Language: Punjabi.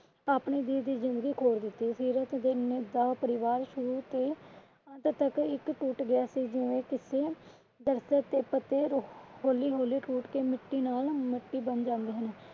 ਆਪਣੇ ਜੀ ਦੀ ਜਿੰਦਗੀ ਖੋਰ ਦਿੱਤੀ। ਸੀਰਤ ਦਾ ਪਰਿਵਾਰ ਸ਼ੁਰੂ ਤੋਂ ਅੰਤ ਤੱਕ ਇੰਜ ਟੁੱਟ ਗਿਆ ਸੀ ਜਿਵੇਂ ਕਿਸੇ ਦਰਖ਼ਤ ਦੇ ਪੱਤੇ ਹੋਲੀ ਹੋਲੀ ਟੁੱਟ ਕੇ ਮਿੱਟੀ ਨਾਲ ਮਿੱਟੀ ਬਨ ਜਾਂਦੇ ਹਨ।